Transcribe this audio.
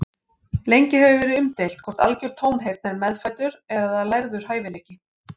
Lengi hefur verið umdeilt hvort algjör tónheyrn er meðfæddur eða lærður hæfileiki.